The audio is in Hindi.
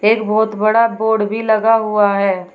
एक बहोत बड़ा बोर्ड भी लगा हुआ है।